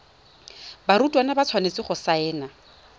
barutwana ba tshwanetse go saena